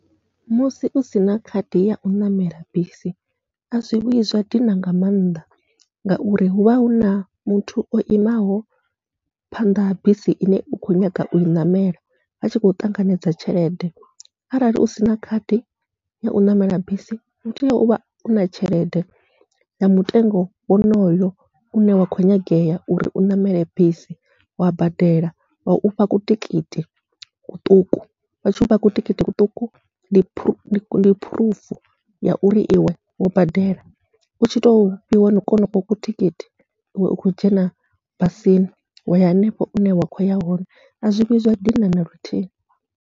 Musi usina khadi yau ṋamela bisi azwi vhuyi zwa dina nga maanḓa, ngauri huvha huna muthu o imaho phanḓa ha bisi ine u kho nyaga ui ṋamela atshi khou ṱanganedza tshelede, arali usina khadi yau ṋamela bisi utea uvha u na tshelede ya mutengo wonoyo une wa khou nyangea uri u ṋamele bisi, wa badela wa ufha ku tikiti kuṱuku vha tshi vha kutikiti kuṱuku ndi phuruvu ya uri iwe wo badela, utshi to fhiwa konoko kutikhithi iwe u khou dzhena bisini waya henefho une wa khou ya hone azwi vhuyi zwa dina naluthihi.